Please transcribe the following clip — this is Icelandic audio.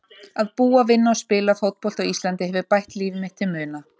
Að búa, vinna og spila fótbolta á Íslandi hefur bætt líf mitt til muna.